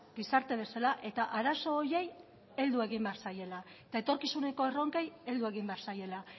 gizarte bezala eta arazo horiei heldu egin behar zaiela eta etorkizuneko erronkei heldu egin behar zaiela